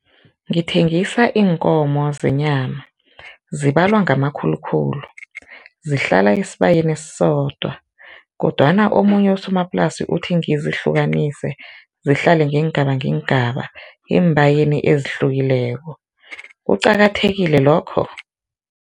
Ngithengisa iinkomo zenyama, zibalwa ngamakhulukhulu, zihlala esibayeni esisodwa kodwana omunye usomaplasi uthi ngizihlukanise zihlale ngeengaba ngeengaba eembayeni ezihlukileko. Kuqakathekile lokho?